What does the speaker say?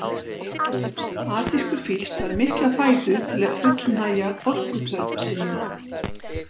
Asískur fíll þarf mikla fæðu til að fullnægja orkuþörf sinni.